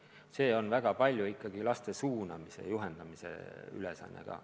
Küsimus on väga palju ikkagi laste suunamises, juhendamises.